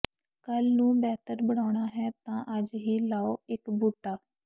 ਕੱਲ੍ਹ ਨੂੰ ਬਿਹਤਰ ਬਣਾਉਣਾ ਹੈ ਤਾਂ ਅੱਜ ਹੀ ਲਾਓ ਇਕ ਬੂਟਾ